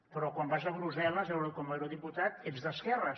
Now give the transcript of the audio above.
però quan vas a brussel·les com a eurodiputat ets d’esquerres